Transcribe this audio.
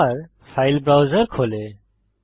আবার file browser খোলে